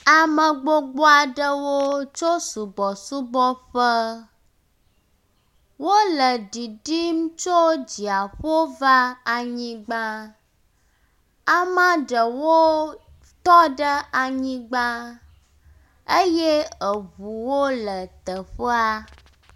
ame gbogboaɖewo tsó subɔsubɔƒe wóle ɖiɖim tsó dziaƒo va anyigbã amaɖewo tɔɖe anyigbã eye eʋuwo le teƒea